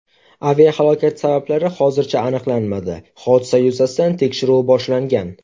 Aviahalokat sabablari hozircha aniqlanmadi, hodisa yuzasidan tekshiruv boshlangan.